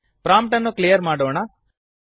prompt ಅನ್ನು clear ಮಾಡೋಣ